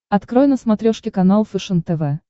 открой на смотрешке канал фэшен тв